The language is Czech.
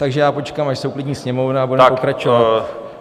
Takže já počkám, až se uklidní sněmovna, a budeme pokračovat.